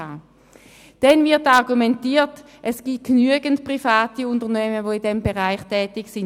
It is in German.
Des Weiteren wird argumentiert, es gebe genügend private Unternehmen, die in diesem Bereich tätig seien.